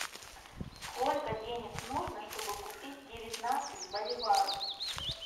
сколько денег нужно чтобы купить девятнадцать боливаров